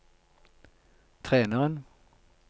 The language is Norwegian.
treneren